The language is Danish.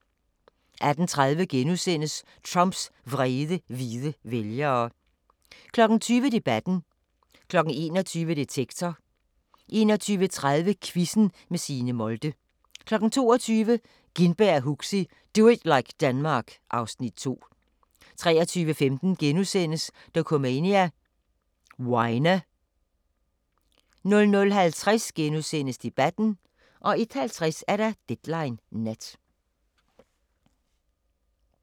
18:30: Trumps vrede hvide vælgere * 20:00: Debatten 21:00: Detektor 21:30: Quizzen med Signe Molde 22:00: Gintberg og Huxi – Do it like Denmark (Afs. 2) 23:15: Dokumania: Weiner * 00:50: Debatten * 01:50: Deadline Nat